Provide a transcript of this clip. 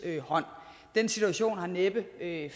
hånd den situation har næppe